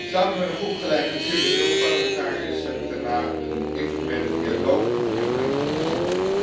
Samen met een groep gelijkgezinde Europarlementariërs heb ik daarna een informele dialoog gevoerd met de Commissie.